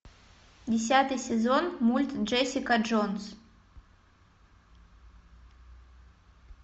десятый сезон мульт джессика джонс